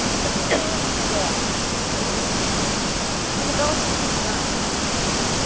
E aí foi um inferno, porque aí eu não podia, porque rubéola você não sente nada.